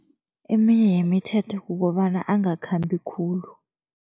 Eminye yemithetho kukobana angakhambi khulu.